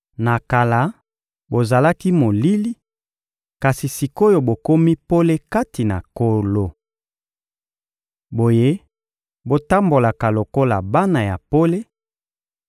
Na kala, bozalaki molili, kasi sik’oyo bokomi pole kati na Nkolo. Boye, botambolaka lokola bana ya pole,